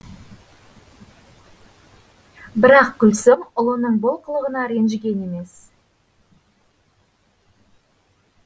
бірақ гүлсім ұлының бұл қылығына ренжіген емес